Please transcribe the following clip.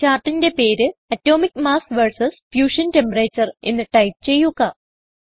ചാർട്ടിന്റെ പേര് atomic mass vs fusion temperature എന്ന് ടൈപ്പ് ചെയ്യുക